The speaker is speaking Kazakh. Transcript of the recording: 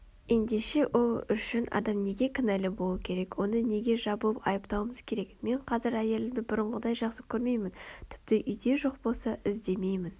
ендеше ол үшін адам неге кінәлі болуы керек оны неге жабылып айыптауымыз керек мен қазір әйелімді бұрынғыдай жақсы көрмеймін тіпті үйде жоқ болса іздемеймін